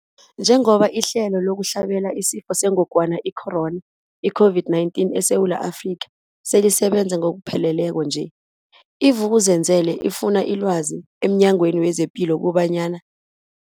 Njengoba ihlelo lokuhlabela isiFo sengogwana i-Corona, i-COVID-19, eSewula Afrika selisebenza ngokupheleleko nje, i-Vuk'uzenzele ifune ilwazi emNyangweni wezePilo kobanyana.